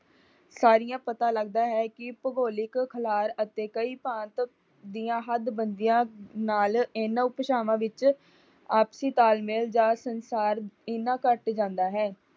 ਸਾਰੀਆਂ ਪਤਾ ਲੱਗਦਾ ਹੈ ਭੂਗੋਲਿਕ ਖਿਲਾਰ ਅਤੇ ਕਈ ਭਾਂਤ ਦੀ ਹੱਦਬੰਦੀਆਂ ਨਾਲ ਇਨ੍ਹਾਂ ਉਪਭਾਸ਼ਵਾਂ ਵਿੱਚ ਆਪਸੀ ਤਾਲਮੇਲ ਜਾਂ ਸੰਸਾਰ ਇਨ੍ਹਾਂ ਘੱਟ ਜਾਂਦਾ ਹੈ।